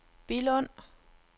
Billund